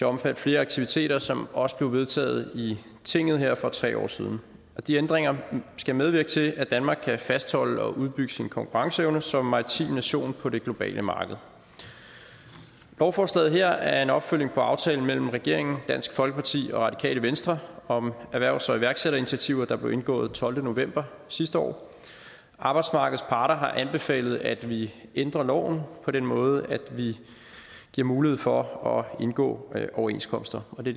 omfatte flere aktiviteter som også blev vedtaget i tinget her for tre år siden de ændringer skal medvirke til at danmark kan fastholde og udbygge sin konkurrenceevne som maritim nation på det globale marked lovforslaget her er en opfølgning på aftalen mellem regeringen dansk folkeparti og radikale venstre om erhvervs og iværksætterinitiativer der blev indgået tolvte november sidste år arbejdsmarkedets parter har anbefalet at vi ændrer loven på den måde at vi giver mulighed for at indgå overenskomster og det